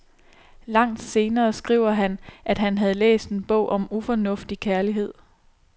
Langt senere skriver han, at han havde læst en bog om ufornuftig kærlighed.